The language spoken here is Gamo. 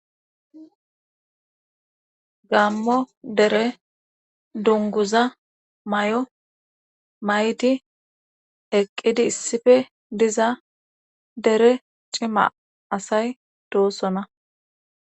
gammo dere dunguza may7o maytdi eqqidi issife diza dere cima asay doosona